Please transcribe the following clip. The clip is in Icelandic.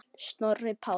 Snorri Páll.